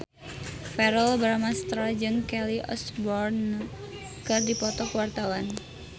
Verrell Bramastra jeung Kelly Osbourne keur dipoto ku wartawan